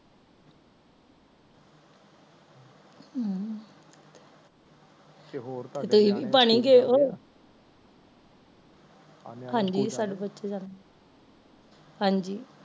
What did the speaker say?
ਹਮ ਤੇ ਹੋਰ ਤੁਹੀ ਵੀ ਬਣ ਹੀ ਗਏ ਓ ਹਾਂਜੀ